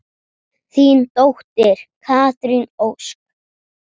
Þín dóttir, Katrín Ósk.